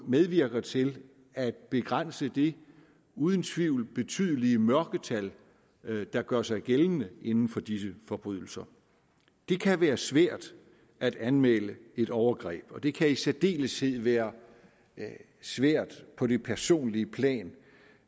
medvirker til at begrænse det uden tvivl betydelige mørketal der gør sig gældende inden for disse forbrydelser det kan være svært at anmelde et overgreb og det kan i særdeleshed være svært på det personlige plan